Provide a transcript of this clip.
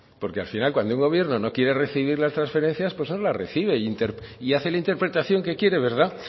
porque al final que cuando un gobierno no quiere recibir las transferencias pues nos las recibe y hace la interpretación que quiere